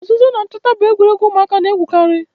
Ozuzo na nchota bu egwuregwu umuaka na-egwukari.